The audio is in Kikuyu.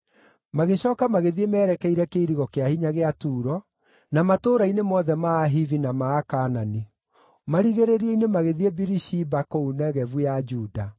Magĩcooka magĩthiĩ merekeire kĩirigo kĩa hinya gĩa Turo na matũũra-inĩ mothe ma andũ a Ahivi na ma Kaanani. Marigĩrĩrio-ini magĩthiĩ Birishiba kũu Negevu ya Juda.